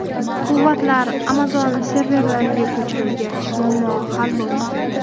Quvvatlar Amazon serverlariga ko‘chirilgach, muammo hal bo‘ldi.